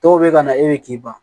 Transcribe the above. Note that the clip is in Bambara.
Dɔw bɛ ka na e bɛ k'i ban